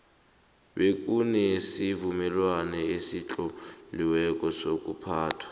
bekunesivumelwano esitloliweko sokuphathwa